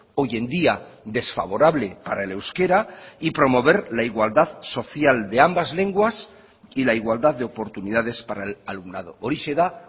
hoy en día desfavorable para el euskera y promover la igualdad social de ambas lenguas y la igualdad de oportunidades para el alumnado horixe da